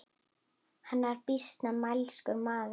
Hann var býsna mælskur maður.